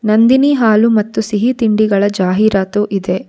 ನಂದಿನಿ ಹಾಲು ಮತ್ತು ಸಿಹಿ ತಿಂಡೀಗಳ ಜಾಹೀರಾತು ಇದೆ.